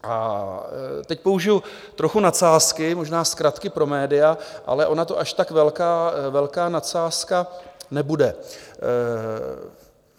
A teď použiji trochu nadsázky, možná zkratky pro média, ale ona to až tak velká nadsázka nebude.